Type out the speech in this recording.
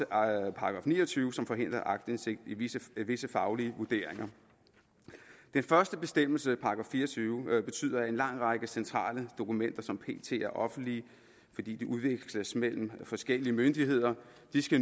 § ni og tyve som forhindrer aktindsigt i visse visse faglige vurderinger den første bestemmelse § fire og tyve betyder at en lang række centrale dokumenter som pt er offentlige fordi de udveksles mellem forskellige myndigheder